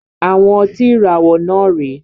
Àwọn ọtí ìràwọ̀ náà rè é